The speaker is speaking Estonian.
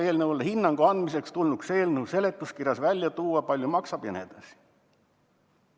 Eelnõule hinnangu andmiseks tulnuks eelnõu seletuskirjas välja tuua, kui palju maksab jne.